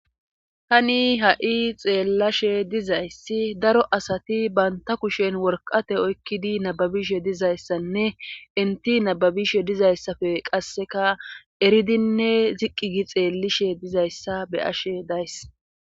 Hani ha7i xeellashe dizayssi daro asati banta kushen worqate oykkidi nababishe dizayssanne inti nababishe dizayssafe qasseka eridinne ziqqi gi xeellishe dizayssa beyashe dayss